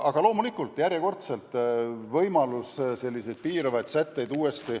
Aga loomulikult on järjekordselt võimalik ka selliseid piiravaid sätteid sisse seada.